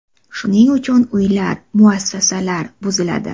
Shuning uchun uylar, muassasalar buziladi.